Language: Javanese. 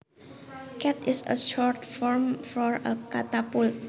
Cat is a short form for a catapult